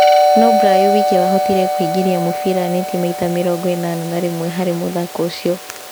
No Brayo wike wahotire kũingĩria mũbira neti maita mĩrongo-ĩnana na rĩmwe harĩ mũthako ũcio.